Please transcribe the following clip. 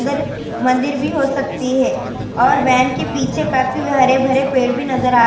مندر بھی ہو سکتی ہے اور بہن کے پیچھے کافی ہرے بھرے پیڑ بھی.